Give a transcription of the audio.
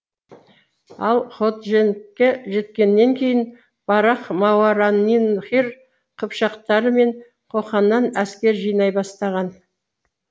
ал ходжентке жеткеннен кейін барақ мауараннахр қыпшақтары мен қоқаннан әскер жинай бастаған